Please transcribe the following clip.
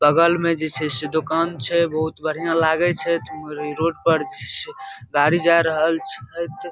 बगल मे जे छै दुकान छै बहुत बढ़िया लगे छै इ रोड पर जे गाड़ी जाय रहल छै।